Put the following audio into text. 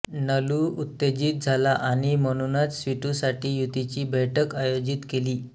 नलू उत्तेजित झाला आणि म्हणूनच स्वीटूसाठी युतीची बैठक आयोजित केली